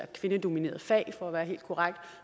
kvindedominerede fag for at være helt korrekt